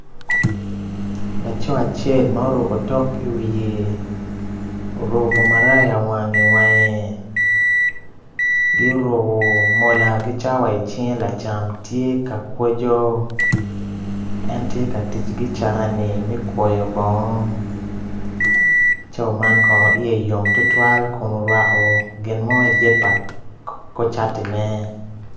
Laco acel ma oruko otok i wiye oruko maraya i wange ki oruko cawa ki mola i cinge lacam tye ka kwoco en tye ka tic ki carani me kwoyo bongo.